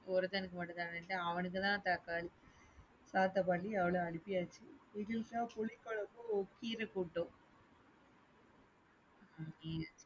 ஒருத்தனுக்கு மட்டும்தான அவனுக்குதான் தக்காளி parcel பண்ணி அனுப்பியாச்சு. எங்களுக்குத்தான் புளிக்குழம்பும் கீர கூட்டும்.